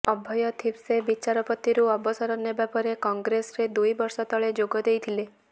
ଅଭୟ ଥିପ୍ସେ ବିଚାରପତିରୁ ଅବସର ନେବା ପରେ କଂଗ୍ରେସରେ ଦୁଇ ବର୍ଷ ତଳେ ଯୋଗ ଦେଇଥିଲେ